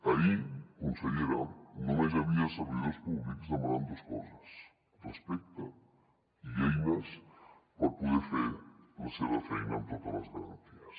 ahir consellera només hi havia servidors públics demanant dos coses respecte i eines per poder fer la seva feina amb totes les garanties